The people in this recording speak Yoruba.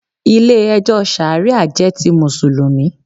Ilé ẹjọ́ Ṣàríà jẹ́ ti Mùsùlùmí.